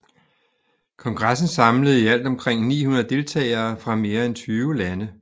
Kongressen samlede i alt omkring 900 delegerede fra mere end 20 lande